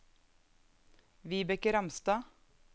Vibeke Ramstad